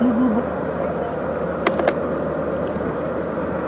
мы глубоко благодарны пришвину